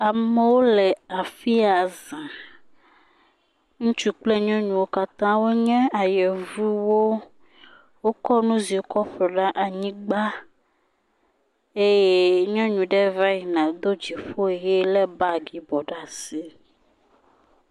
Amewo le afiya zã, ŋutsu kple nyɔnuwo nye ayevuwo, wokɔ nuziwo kɔ ƒo ɖe anyigba eye nyɔnu ɖe va yina do dziƒo ʋi le bagi yibɔ ɖe asi.